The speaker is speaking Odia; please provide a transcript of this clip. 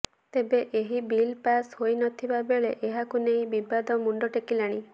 ତେବେ ଏହି ବିଲ୍ ପାସ୍ ହୋଇ ନଥିବା ବେଳେ ଏହାକୁ ନେଇ ବିବାଦ ମୁଣ୍ଡ ଟେକିଲାଣି